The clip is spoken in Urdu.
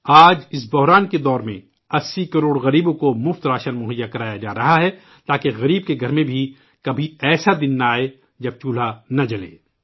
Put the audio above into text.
آج اس بحران کی گھڑی میں 80 کروڑ غریبوں کو مفت راشن مہیا کرایا جا رہا ہے تاکہ غریب کے گھر میں بھی کبھی ایسا دن نہ آئے جب چولہا نہ جلے